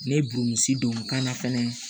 Ne ye don n kan na fɛnɛ